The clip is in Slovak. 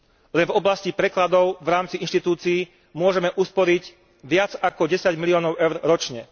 Len v oblasti prekladov v rámci inštitúcií môžeme usporiť viac ako 10 miliónov EUR ročne.